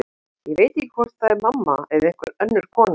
En ég veit ekki hvort það er mamma eða einhver önnur kona.